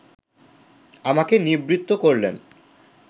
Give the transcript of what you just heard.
আমাকে নিবৃত্ত করলেন